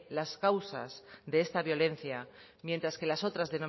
las causas de esta violencia mientras que las otras